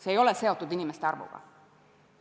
See ei ole seotud inimeste arvuga.